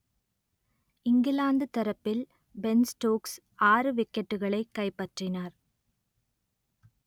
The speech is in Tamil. இங்கிலாந்து தரப்பில் பென் ஸ்டோக்ஸ் ஆறு விக்கெட்டுகளை கைப்பற்றினார்